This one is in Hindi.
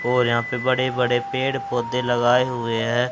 और यहां पे बड़े बड़े पेड़ पौधे लगाये हुए है।